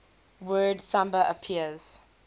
word samba appeared